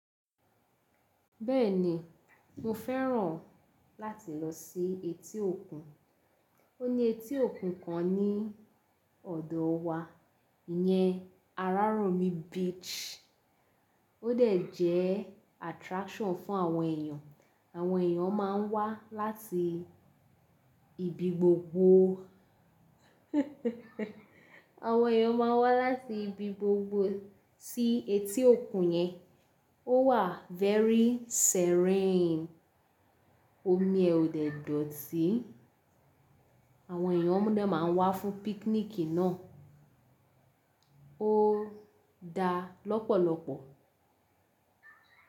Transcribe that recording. Bẹ́ẹ̀ni, mo fẹ́ràn láti lọ sí etí òkun. Ó ní etí òkun kan ní ọ̀dọ̀ wa, ìyẹn Araromi Beach. Ó dẹ̀ jẹ́ attraction fún àwọn èèyàn. Àwọn èèyàn máa ń wá láti ibi gbogbo, àwọn èèyàn máa ń wá láti ibi gbogbo sí etí òkun yẹn. Ó wà very serene, omi ẹ ò dẹ̀ dọ̀tí. Àwọn èèyàn dé máa ń wá fún picnic náà. Ó dá lọ́pọ̀lọ́pọ̀.